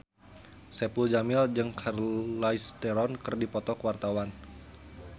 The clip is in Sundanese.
Saipul Jamil jeung Charlize Theron keur dipoto ku wartawan